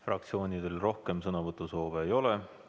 Fraktsioonidel rohkem sõnavõtusoovi ei ole.